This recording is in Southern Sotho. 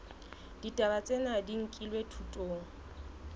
ditaba tsena di nkilwe thutong